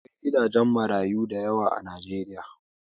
Akwai gidajen marayu dayawa a najeriya